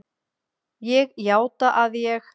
Ég játa að ég